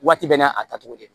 Waati bɛɛ n'a tacogo de